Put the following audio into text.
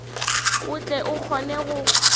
o tle o kgone go